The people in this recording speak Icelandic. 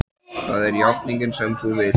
Það er játningin sem þú vilt.